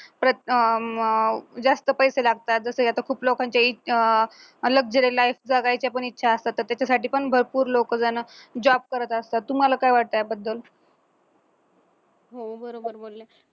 अं जास्त पैसे लागतात जसं आता खूप लोकांचे luxury life जगायच्या पण इच्छा असतात तर त्याच्यासाठी पण भरपूर लोक जण job करत असतात तुम्हाला काय वाटतं याबद्दल